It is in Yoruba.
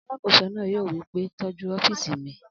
Alàkóso náà yóò wí pé tọ́jú ọ́fìsì mi!